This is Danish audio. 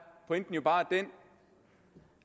pointen jo bare